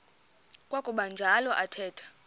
kwakuba njalo athetha